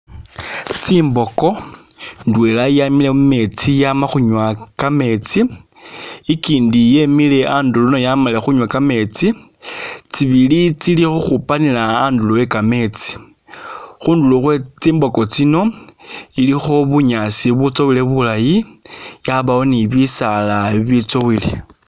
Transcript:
Tsimboko, ndwela yamile mu metsi yama khunywa kametsi, ikyindi yemile andulo nayo yamalile khunywa kametsi, tsibili tsili ukhupanila andulo e kametsi, khundulo khwe tsimboko tsino, ilikho bunyaasi butsowele bulayi yabawo ni bisaala ibitsowele.